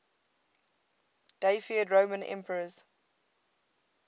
deified roman emperors